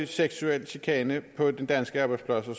seksuel chikane på danske arbejdspladser